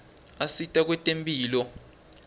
usita kwetemphilo